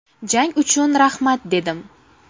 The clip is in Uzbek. Jang uchun rahmat dedim.